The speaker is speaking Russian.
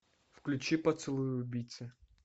включи поцелуй убийцы